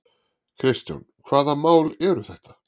Kristján: Hvaða mál eru þetta?